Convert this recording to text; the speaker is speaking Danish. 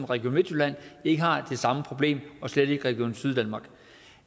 region midtjylland ikke har det samme problem og slet ikke region syddanmark